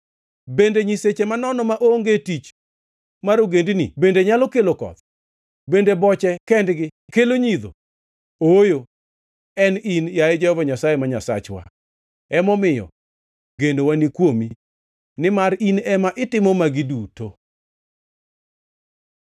Bende nyiseche manono maonge tich mar ogendini bende nyalo kelo koth? Bende boche kendgi kelo ngʼidho? Ooyo, en in, yaye Jehova Nyasaye ma Nyasachwa. Emomiyo genowa ni kuomi, nimar in ema itimo magi duto.